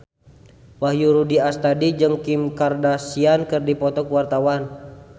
Wahyu Rudi Astadi jeung Kim Kardashian keur dipoto ku wartawan